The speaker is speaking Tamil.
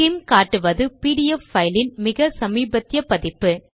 ஸ்கிம் காட்டுவது பிடிஎஃப் பைலின் மிக சமீபத்திய பதிப்பு